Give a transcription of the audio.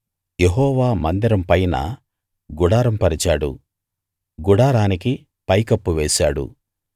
యెహోవా మందిరం పైన గుడారం పరిచాడు గుడారానికి పైకప్పు వేశాడు